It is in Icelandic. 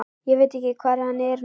Ég veit ekki hvar hann er núna.